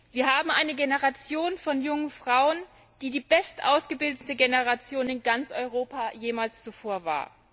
Wir haben eine Generation von jungen Frauen, die die bestausgebildete Generation in ganz Europa aller Zeiten war.